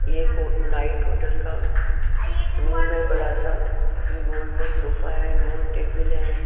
एक night hotel का room है बड़ा सा गोल गोल सोफा है गोल टेबल है।